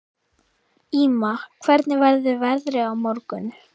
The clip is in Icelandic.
Ýma, hvernig verður veðrið á morgun?